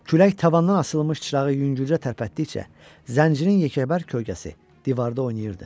Külək tavandan asılmış çırağı yüngülcə tərpətdikcə, zəncirin yekəbər kölgəsi divarda oynayırdı.